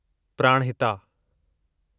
Pranahita